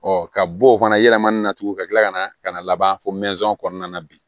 Ɔ ka bɔ o fana yɛlɛmana na tugun ka kila ka na ka na laban fo kɔnɔna na bi